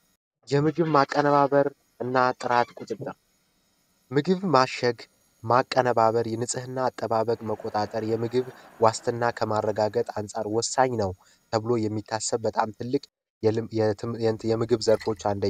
የምግብ ማቀነባበር እና ጥራት ቁጥጥር ምግብ ማሸግ ማቀነባበር የንፅህና አጠባበቅ መቆጣጠር የምግብ ዋስትና ከማረጋገጥ አንፃር ወሳኝ ነው። ተብሎ የሚታሰብ በጣም ትልቅ የምግብ ዘርፎች አንደኛ።